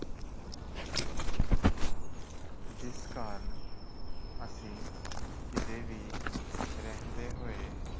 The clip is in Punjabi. ਜਿਸ ਕਾਰਨ ਅਸੀਂ ਕਿਤੇ ਵੀ ਰਹਿੰਦੇ ਹੋਏ